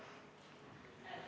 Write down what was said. Istungi lõpp kell 20.25.